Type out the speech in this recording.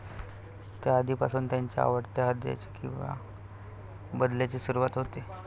त्या दिवसापासून त्याच्या आवडत्या हृदयाचे किंवा बदल्याची सुरुवात होते